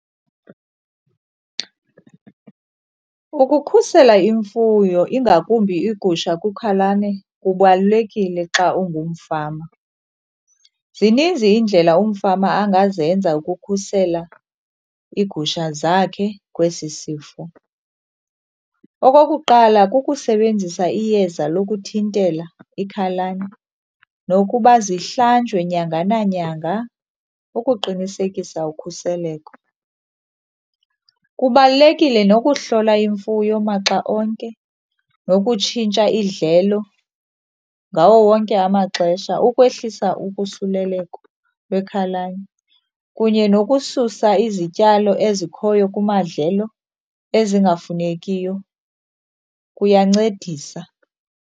Ukukhusela imfuyo ingakumbi iigusha kwikhalane kubalulekile xa ungumfama. Zininzi iindlela umfama angazenza ukukhusela iigusha zakhe kwesi sifo. Okokuqala kusebenzisa iyeza lokuthintela ikhalane nokuba zihlanjwe nyanga nanyanga ukuqinisekisa ukhuseleko. Kubalulekile nokuhlola imfuyo maxa onke nokutshintsha idlelo ngawo wonke amaxesha ukwehlisa ukusuleleko lwekhalane, kunye nokususa izityalo ezikhoyo kumadlelo ezingafunekiyo kuyancedisa.